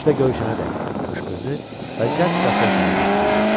Küncdə görüşənədək, qışqırdı və cəld qapıya sarı götürüldü.